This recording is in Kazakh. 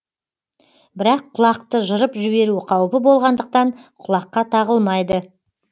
бірақ құлақты жырып жіберу қауіпі болғандықтан құлаққа тағылмайды